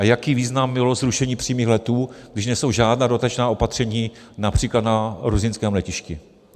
A jaký význam mělo zrušení přímých letů, když nejsou žádná dodatečná opatření například na ruzyňském letišti?